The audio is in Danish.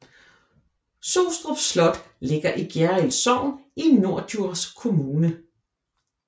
Sostrup Slot ligger i Gjerrild Sogn i Norddjurs Kommune